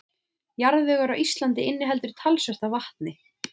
Jarðvegur á Íslandi inniheldur talsvert af vatni.